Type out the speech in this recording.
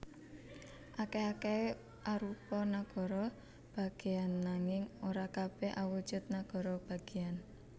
Akèh akèhé arupa nagara bagéyan nanging ora kabèh awujud nagara bagéyan